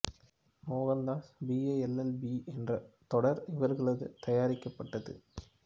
Mohandas B A L L B என்ற முதல் தொடர் இவர்களது தயாரிக்கப்பட்டது